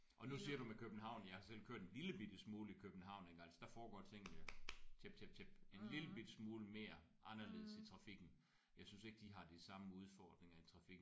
Og nu siger du med København jeg har selv kørt en lille bitte smule i København ik altså der foregår tingene tjept tjept tjept en lille bitte smule mere anderledes i trafikken. Jeg synes ikke de har de samme udfordringer i trafikken